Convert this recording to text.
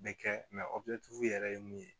Bɛ kɛ yɛrɛ ye mun ye